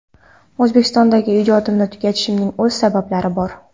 O‘zbekistondagi ijodimni tugatishimning o‘z sabablari bor.